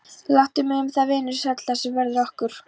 Láttu mig um það, vinur sæll, það sem verður okkur